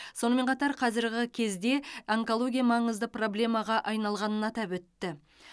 сонымен қатар қазіргі кезде онкология маңызды проблемаға айналғанын атап өтті